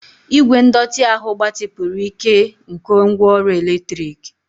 Igwe ndọtị ahụ gbatịpụrụ ike nke ngwaọrụ eletrik.